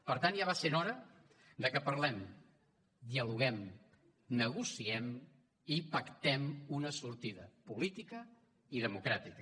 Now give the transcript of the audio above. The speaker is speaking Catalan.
per tant ja va sent hora que parlem dialoguem negociem i pactem una sortida política i democràtica